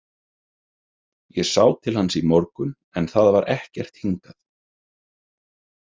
Ég sá til hans í morgun en það var ekkert hingað